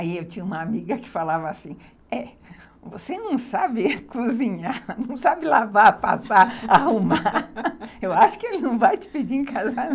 Aí eu tinha uma amiga que falava assim, você não sabe cozinhar, não sabe lavar, passar, arrumar, eu acho que ele não vai te pedir em casamento.